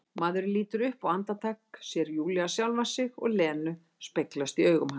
Maðurinn lítur upp og andartak sér Júlía sjálfa sig og Lenu speglast í augum hans.